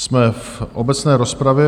Jsme v obecné rozpravě.